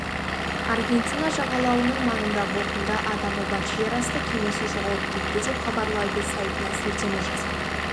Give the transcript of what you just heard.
аргентина жағалауының маңында бортында адамы бар жер асты кемесі жоғалып кетті деп хабарлайды сайтына сілтеме жасап